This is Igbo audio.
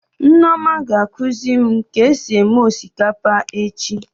Nneoma ga-ekuzi mụ ka esi eme osikapa echi